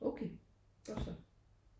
Okay godt så